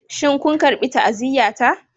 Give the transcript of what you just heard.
Shin kun karɓi ta'aziyyata?